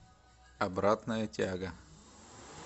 обратная тяга